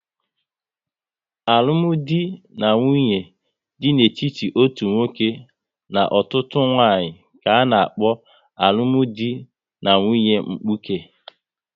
Alụmdi na nwunye dị n'etiti otu nwoke na otu nwanyị ka-ana kpo alụmdi na nwunye mkpuke